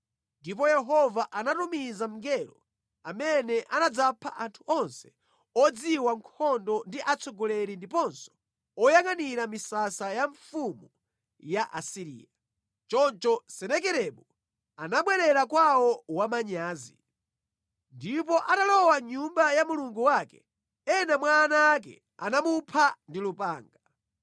Ndipo Yehova anatumiza mngelo amene anadzapha anthu onse odziwa nkhondo ndi atsogoleri ndiponso oyangʼanira misasa ya mfumu ya ku Asiriya. Choncho Senakeribu anabwerera kwawo wamanyazi. Ndipo atalowa mʼnyumba ya mulungu wake, ena mwa ana ake anamupha ndi lupanga.